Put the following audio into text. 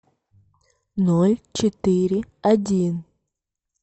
ноль четыре один